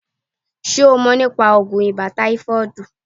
Ṣé o mọ̀ nípa oògùn ibà táífọ̀ọ̀dù?